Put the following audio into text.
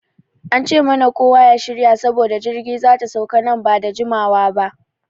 An ce mana kowa ya shirya saboda jirgi zata sauka nan bada jimawa ba.